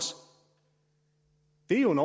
det er jo en